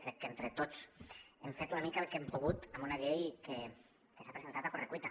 crec que entre tots hem fet una mica el que hem pogut amb una llei que s’ha presentat a correcuita